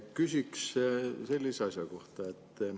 Küsiksin sellise asja kohta.